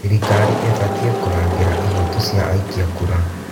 Thirikari ĩbatiĩ kũrangĩra ihooto cia aikia kura.